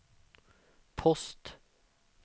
post